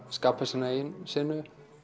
skapa sína eigin senu